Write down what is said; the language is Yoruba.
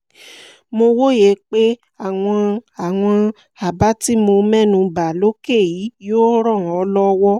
mo wòye pé àwọn àwọn àbá tí mo mẹ́nu bà lókè yìí yóò ràn ọ́ lọ́wọ́